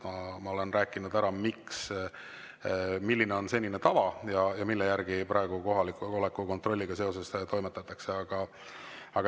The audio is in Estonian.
Ma olen rääkinud ära, milline on senine tava ja mille järgi praegu kohaloleku kontrolliga seoses toimetatakse.